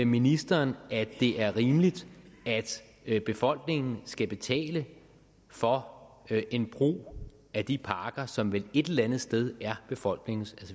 ministeren at det er rimeligt at befolkningen skal betale for en brug af de parker som vel et eller andet sted er befolkningens